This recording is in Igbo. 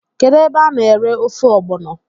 Kedu ebe a na ere ofe ọgbọno?